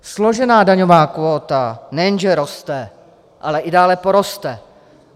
Složená daňová kvóta nejenže roste, ale i dále poroste.